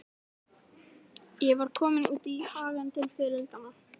Ég var komin út í hagann til fiðrildanna.